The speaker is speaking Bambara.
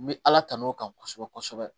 N bɛ ala tan'o kan kosɛbɛ kosɛbɛ